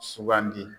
Sugandi